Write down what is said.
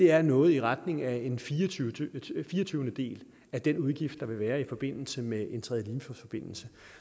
er noget i retning af en firetyvendedel af den udgift der ville være i forbindelse med en tredje limfjordsforbindelse